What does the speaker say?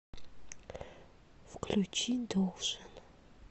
включи должен